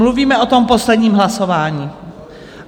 Mluvíme o tom posledním hlasování?